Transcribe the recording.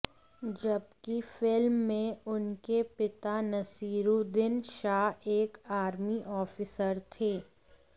जबकि फिल्म में उनके पिता नसीरूद्दीन शाह एक आर्मी ऑफिसर थे